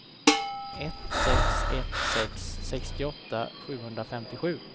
ett sex ett sex sextioåtta sjuhundrafemtiosju